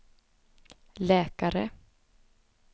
läkare